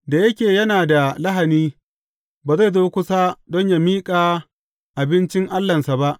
Da yake yana da lahani, ba zai zo kusa don yă miƙa abincin Allahnsa ba.